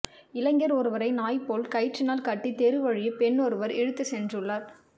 இளைஞர் ஒருவரை நாய் போல் கயிற்றினால் கட்டி தெரு வழியே பெண்ணொருவர் இழுத்துச் சென்றுள்ளார்